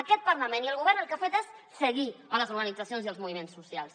aquest parlament i el govern el que han fet és seguir les organitzacions i els moviments socials